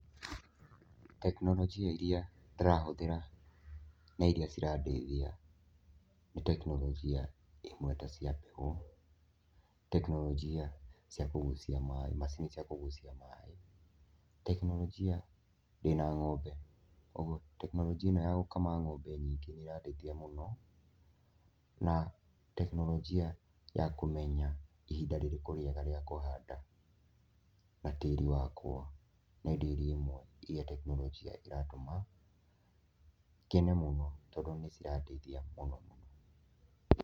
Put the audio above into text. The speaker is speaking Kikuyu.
Tekinoronjĩ iria ndĩrahũthĩra na iria cirandeithia ni tekinoronjĩ ĩmwe ta cia mbeũ, tekinoronjĩ cia kũguucia maaĩ, macini cia kũguucia maaĩ. Tekinoronjĩ, ndĩna ngombe kũoguo tekinoronjĩ ĩno ya gũkama ngombe nyingĩ nĩ ĩrandeithia mũno, na tekinoronjĩ ya kũmenya nĩ ihinda rĩrĩku rĩega rĩa kũhanda, na tĩri wakwa. Nĩ ĩndo iria imwe iria tekinoronjĩ ĩratuma ngene mũno tondũ nĩ cirandeithia mũnomũno.